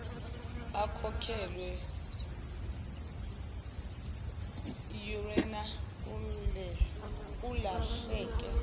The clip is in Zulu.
akhokhelwe urna kulahleke